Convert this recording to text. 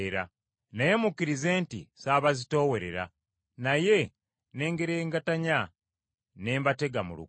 Naye mukkirize nti ssabazitoowerera; naye ne ngerengetanya ne mbatega mu lukwe.